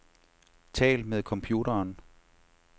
Tal med computeren.